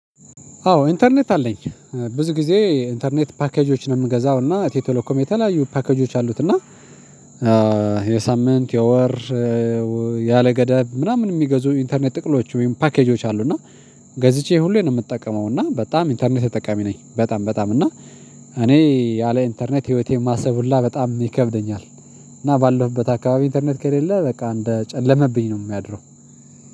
አዎ ኢንተርኔት አለኝ። ብዙ ጊዜ ኢንተርኔት ፓኬጆችን ነው የምገዛው እና ኢትዮ ቴሌኮም የተለያዩ ፓኬጆች አሉት። እና የሳምንት የወር ያለገዳብ ምናምን የሚገዙ ኢንተርኔት ጥቅሎች ወይም ፓኬጆች አሉ። እና ገዝቼ ሁሌ ነው የምጠቀመው እና በጣም ኢንተርኔት ተጠቃሚ ነኝ። በጣም በጣም እና እኔ ያለ ኢንተርኔት ህይወቴን ማሰብ ሁላ በጣም ይከብደኛል። እና ባለሁበት አካባቢ ኢንተርኔት ከሌለ በቃ እንደ ጨለመብኝ ነው የሚያድረው